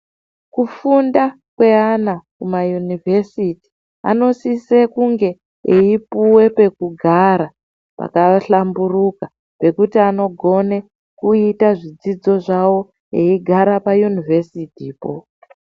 Kufunda kweana mumayunivhesiti anosiso kunge eipuve pekugara pakahlamburuka. Pekuti anogone kuite zvidzidzo zvavo eigare payunivhesitipo.